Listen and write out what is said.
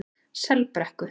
Selbrekku